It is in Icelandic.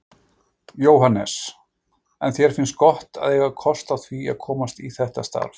Jóhannes: En þér finnst gott að eiga kost á því að komast í þetta starf?